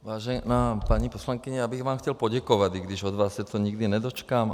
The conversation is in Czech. Vážená paní poslankyně, já bych vám chtěl poděkovat, i když od vás se toho nikdy nedočkám.